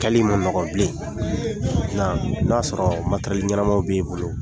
Kɛli ma ma mɔgɔ bilen, nka n'a y'a sɔrɔ materɛli ɲɛnamaw bɛ i bolo